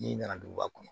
N'i nana duguba kɔnɔ